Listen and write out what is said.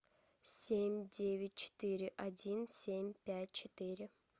семь девять четыре один семь пять четыре